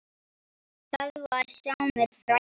Það var Sámur frændi.